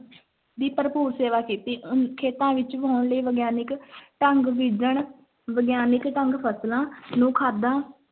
ਦੀ ਭਰਪੂਰ ਸੇਵਾ ਕੀਤੀ ਅਮ ਖੇਤਾਂ ਵਿੱਚ ਵਾਹੁਣ ਲਈ ਵਿਗਿਆਨਕ ਢੰਗ ਬੀਜਣ ਵਿਗਿਆਨਕ ਢੰਗ ਫਸਲਾਂ ਨੂੰ ਖਾਦਾਂ